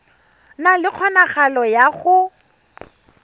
na le kgonagalo ya go